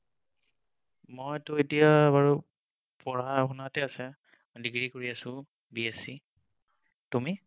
মইতো এতিয়া বাৰু পঢ়া শুনাতে আছে, degree কৰি আছো BSc, তুমি?